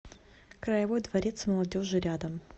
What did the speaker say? краевой дворец молодежи рядом